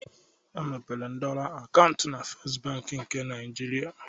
Emepere m dọla akaụntụ na Festị Bankị nke Naịjirịa.